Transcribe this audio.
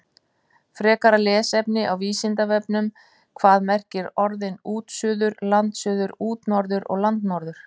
Frekara lesefni á Vísindavefnum: Hvað merkja orðin útsuður, landsuður, útnorður og landnorður?